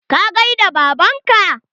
Ka gaida baban ka?